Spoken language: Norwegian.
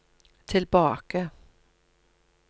tilbake